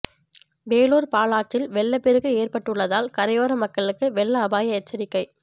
வேலூர் பாலாற்றில் வெள்ளப் பெருக்கு ஏற்பட்டுள்ளதால் கரையோர மக்களுக்கு வெள்ள அபாய எச்சரிக்கை